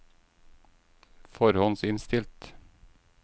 forhåndsinnstilt